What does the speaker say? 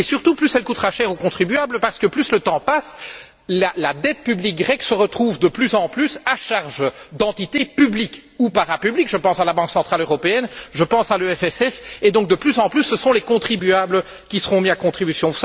Et surtout, plus elle coûtera cher aux contribuables parce que plus le temps passe, plus la dette publique grecque se retrouve à la charge d'entités publiques ou parapubliques je pense à la Banque centrale européenne, je pense à l'EFSF et, de plus en plus, ce sont les contribuables qui seront mis à contribution.